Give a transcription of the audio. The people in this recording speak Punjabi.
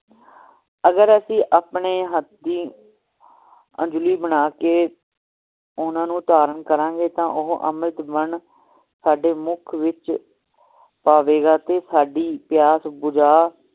ਅਗਰ ਅਸੀਂ ਆਪਣੇ ਹਥਿ ਅੰਜਲੀ ਬਣਾ ਕੇ ਓਹਨਾ ਨੂੰ ਧਾਰਨ ਕਰਾਂਗੇ ਤਾ ਉਹ ਅੰਮ੍ਰਿਤ ਬਣ ਸਾਡੇ ਮੁਖ ਵਿਚ ਪਵੇਗਾ ਤੇ ਸਾਡੀ ਪਿਯਾਸ ਬੁਝਾ